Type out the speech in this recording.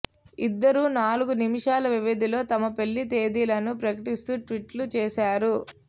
ఇద్దరూ నాలుగు నిమిషాల వ్యవధిలో తమ పెళ్లి తేదీలను ప్రకటిస్తూ ట్వీట్లు చేశారు